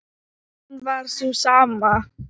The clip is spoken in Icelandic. hún var sú sama.